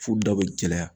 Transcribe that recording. F'u da be gɛlɛya